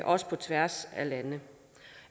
også på tværs af lande